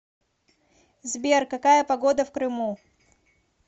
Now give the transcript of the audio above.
сбер какая погода в крыму